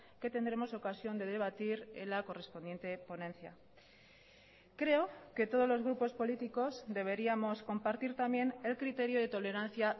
que tendremos ocasión de debatir en la correspondiente ponencia creo que todos los grupos políticos deberíamos compartir también el criterio de tolerancia